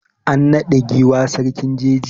An naɗa giwa sarkin jeji.